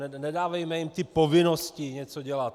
Nedávejme jim ty povinnosti něco dělat.